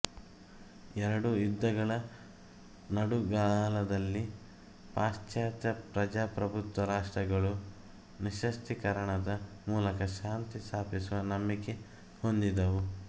ಎರಡು ಯುದ್ಧಗಳ ನಡುಗಾಲದಲ್ಲಿ ಪಾಶ್ಚಾತ್ಯ ಪ್ರಜಾಪ್ರಭುತ್ವ ರಾಷ್ಟ್ರಗಳು ನಿಶ್ಯಸ್ತ್ರೀಕರಣದ ಮೂಲಕ ಶಾಂತಿ ಸ್ಥಾಪಿಸುವ ನಂಬಿಕೆ ಹೊಂದಿದ್ದವು